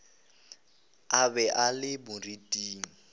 a be a le moriting